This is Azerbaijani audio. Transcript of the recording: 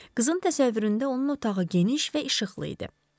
Qızın təsəvvüründə onun otağı geniş və işıqlı idi.